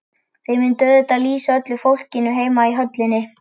Þeir myndu auðvitað lýsa öllu fyrir fólkinu heima í höllinni.